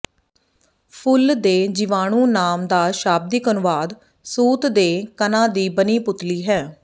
ਫੁੱਲ ਦਾ ਜੀਵਾਣੂ ਨਾਮ ਦਾ ਸ਼ਾਬਦਿਕ ਅਨੁਵਾਦ ਸੂਤ ਦੇ ਕਣਾਂ ਦੀ ਬਣੀ ਪੁਤਲੀ ਹੈ